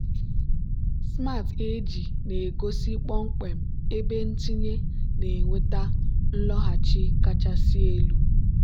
smart ag na-egosi kpọmkwem ebe ntinye na-eweta nloghachi kachasị elu.